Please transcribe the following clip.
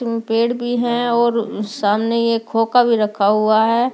पेड़ भी है और सामने ये खोका भी रखा हुआ है।